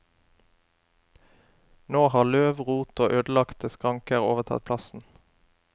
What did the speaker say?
Nå har løv, rot og ødelagte skranker overtatt plassen.